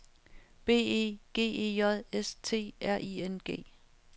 B E G E J S T R I N G